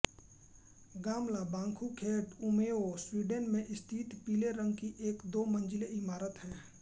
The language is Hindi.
गामला बांखूसैट ऊमेओ स्वीडन में स्थित पीले रंग की एक दो मंजिली इमारत है